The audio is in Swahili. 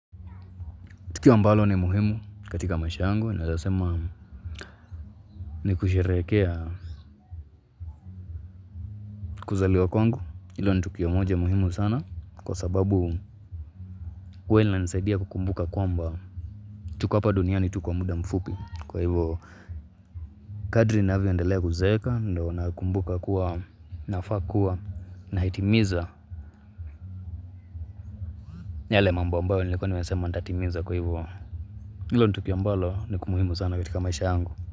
Tukio ambalo ni muhimu katika maisha yangu naeza sema ni kusherekea kuzaliwa kwangu. Ilo ni tukio moja muhimu sana. Kwa sababu uwe linanisaidia kukumbuka kwamba tuko hapa duniani tu kwa mda mfupi. Kwa hivo kadri navyo endelea kuzeeka ndo nakumbuka kuwa nafaa kuwa nahitimiza yale mambo ambayo nilikuwa nimesema ntatimiza kwa hivyo Ilo ni tukio ambalo nikumuhimu sana katika maisha yangu.